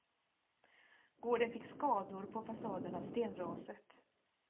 Gården fick skador på fasaden av stenraset.